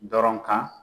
Dɔrɔn kan